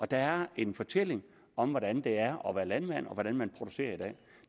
der er en fortælling om hvordan det er at være landmand og hvordan man producerer